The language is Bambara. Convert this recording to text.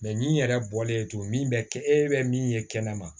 min yɛrɛ bɔlen to min bɛ kɛ e bɛ min ye kɛnɛma